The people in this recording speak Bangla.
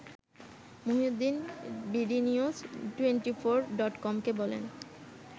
মহিউদ্দিন বিডিনিউজ টোয়েন্টিফোর ডটকমকে বলেন